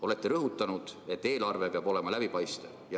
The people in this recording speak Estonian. Olete rõhutanud, et eelarve peab olema läbipaistev.